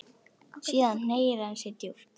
Síðan hneigir hann sig djúpt.